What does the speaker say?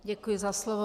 Děkuji za slovo.